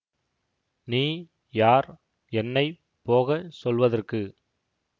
நீ யார் என்னை போக சொல்வதற்கு